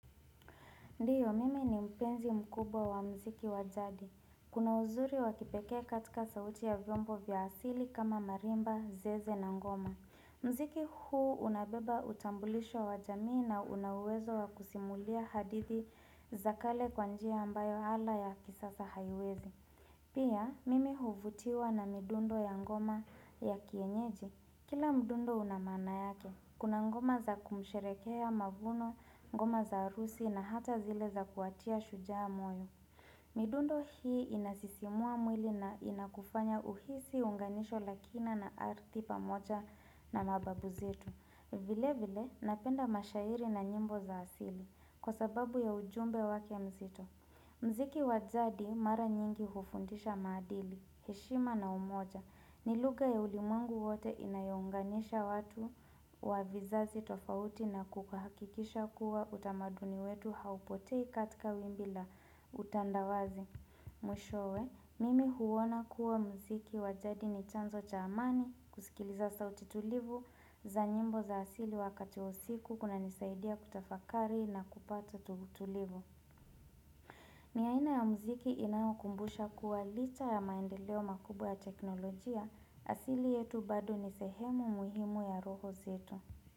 Ndiyo, mimi ni mpenzi mkubwa wa mziki wajadi. Kuna uzuri wakipeke katika sauti ya vyombo vya asili kama marimba, zeze na ngoma. Mziki huu unabeba utambulisho wa jamii na unauwezo wa kusimulia hadithi za kale kwanjia ambayo hala ya kisasa haiwezi. Pia, mimi huvutiwa na midundo ya ngoma ya kienyeji. Kila mdundo unamana yake, kuna ngoma za kumsherekea mavuno, ngoma za arusi na hata zile za kuatia shujaa moyo. Midundo hii inasisimua mwili na inakufanya uhisi unganisho lakina na ardhi pamoja na mababu zetu. Vile vile napenda mashairi na nyimbo za asili kwa sababu ya ujumbe wake mzito. Mziki wajadi mara nyingi hufundisha madili, heshima na umoja, ni luga ya ulimwengu wote inayonganisha watu wa vizazi tofauti na kukahakikisha kuwa utamaduni wetu haupotei katika wimbi la utandawazi. Mwishowe, mimi huwona kuwa mziki wajadi ni chanzo chaamani, kusikiliza sauti tulivu, za nyimbo za asili wakati usiku kuna nisaidia kutafakari na kupata utulivu. Ni aina ya mziki inayonikumbusha kuwa licha ya maendeleo makubwa ya teknolojia, asili yetu bado ni sehemu muhimu ya roho zetu.